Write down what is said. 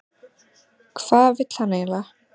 Hvað vill hann eiginlega?